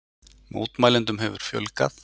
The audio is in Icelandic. Mótmælendum hefur fjölgað